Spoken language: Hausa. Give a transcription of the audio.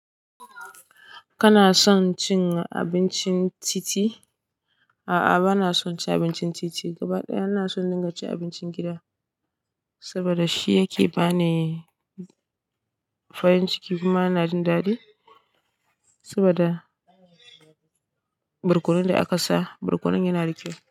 Kana son cin abincin titi? A'a, bana son ci abincin titi gaba ɗaya. Ina son in dinga cin abincin gida saboda shi yake ba ni farin ciki. Kuma ina jin daɗi saboda barkonon da aka sa, barkonon yana da kyau.